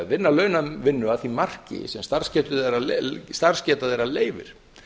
vinna launavinnu að því marki sem starfsgeta þeirra leyfir